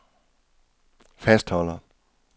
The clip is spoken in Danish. fastholder